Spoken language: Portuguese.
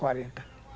Quarenta.